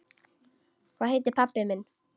Hvað heitir pabbi þinn?